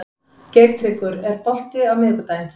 Geirtryggur, er bolti á miðvikudaginn?